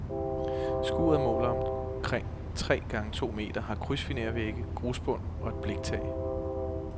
Skuret måler omkring tre gange to meter, har krydsfinervægge, grusbund og et bliktag.